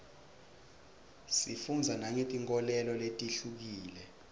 sifundza nangetinkholelo letihlukile